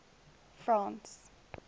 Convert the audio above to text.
france